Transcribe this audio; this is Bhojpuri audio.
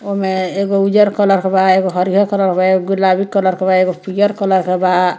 ओमें एगो उजर कलर के बा एगो हरियर कलर के बा एगो गुलाबी कलर के बा एगो पीयर कलर के बा।